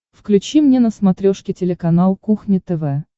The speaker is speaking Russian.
включи мне на смотрешке телеканал кухня тв